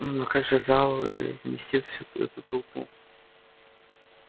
но как же зал вместит всю эту толпу